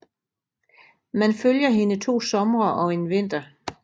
Man følger hende to somre og en vinter